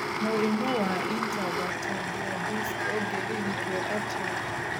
Mũrimũ wa intervertebral disc ũngĩrigitwo atĩa?